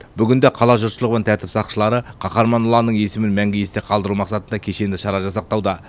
бүгінде қала жұртшылығы мен тәртіп сақшылары қаһарман ұланның есімін мәңгі есте қалдыру мақсатында кешенді шара жасақтауда